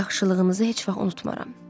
Yaxşılığınızı heç vaxt unutmaram.